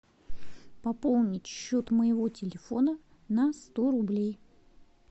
пополнить счет моего телефона на сто рублей